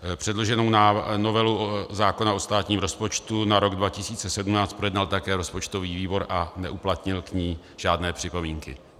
Předloženou novelu zákona o státním rozpočtu na rok 2017 projednal také rozpočtový výbor a neuplatnil k ní žádné připomínky.